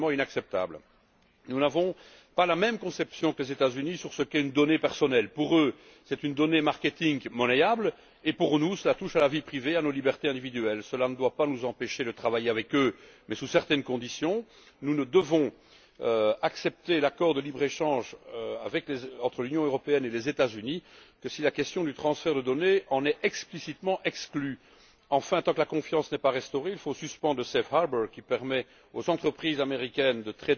C'est totalement inacceptable. Nous n'avons pas la même conception que les États Unis sur ce qu'est une donnée personnelle pour eux, c'est une donnée marketing monnayable et, pour nous, cela touche à la vie privée, à nos libertés individuelles. Cela ne doit pas nous empêcher de travailler avec eux, mais sous certaines conditions. Nous ne devons accepter l'accord de libre échange entre l'Union européenne et les États Unis que si la question du transfert de données en est explicitement exclue. Enfin, tant que la confiance n'est pas rétablie, il faut suspendre l'accord sur la sphère de sécurité, qui permet aux entreprises américaines